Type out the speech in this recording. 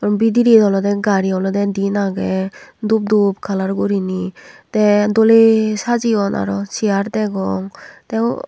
bedire olodey gari olodey diyen agey dup dup kalar guriney te doley sajeyon aro cear degong te.